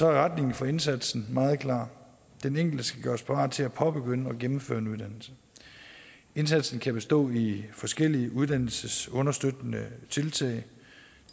er retningen for indsatsen meget klar den enkelte skal gøres parat til at påbegynde og gennemføre en uddannelse indsatsen kan bestå i forskellige uddannelsesunderstøttende tiltag